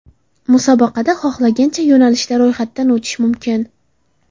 Musobaqada xohlagancha yo‘nalishda ro‘yxatdan o‘tish mumkin.